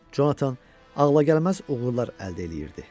Jonathan ağlagəlməz uğurlar əldə eləyirdi.